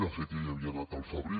de fet ja hi havia anat al febrer